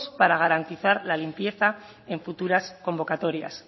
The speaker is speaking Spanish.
para garantizar la limpieza en futuras convocatorias